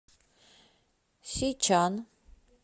сичан